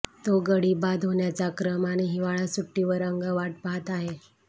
तो गडी बाद होण्याचा क्रम आणि हिवाळा सुटी वर अगं वाट पाहत आहे